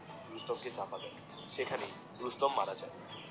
রুস্তম কে চাপা দেয় সেখানেই রুস্তম মারা যায়